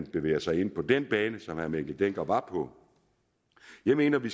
bevæger sig ind på den bane som herre mikkel dencker var på jeg mener at vi